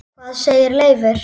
Hvað segir Leifur?